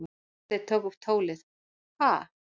Gunnsteinn tók upp tólið:- Ha?